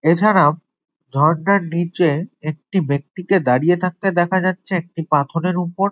এছাড়াও ঝর্না নিচে একটি ব্যক্তিকে দাঁড়িয়ে থাকতে দেখা যাচ্ছে একটি পাথরের উপর।